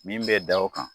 Min bɛ da o kan